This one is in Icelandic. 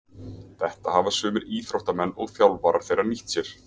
Þetta hafa sumir íþróttamenn og þjálfarar þeirra nýtt sér.